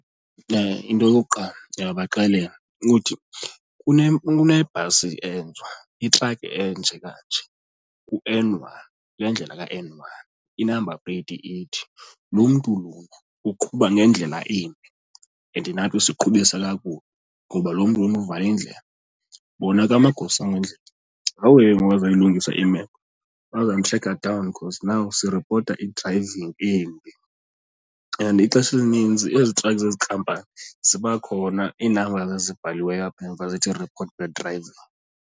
Into yokuqala ndingabaxelela ukuthi kunebhasi itrakhi enje kanje kuN one, kule ndlela kaN one i-number plate ithi. Lo mntu lona uqhuba ngendlela embi and nathi usiqhubisa kakubi ngoba lo mntu lona uvale indlela. Bona ke amagosa endlela ngawo ke ngoku azawuyilungisa imeko, bazomtrekha down because now siripota i-driving embi. And ixesha elininzi ezi trakhi zezi nkampani ziba khona i-numbers ezibhaliweyo apha emva zithi report bad driving.